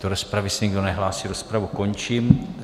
Do rozpravy se nikdo nehlásí, rozpravu končím.